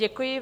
Děkuji.